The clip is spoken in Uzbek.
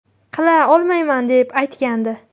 Qila olmayman”, deb aytgandi .